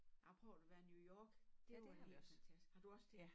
Jeg prøvede at være i New York det var helt fantastisk har du også det